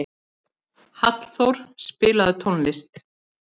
Hallþór, spilaðu tónlist.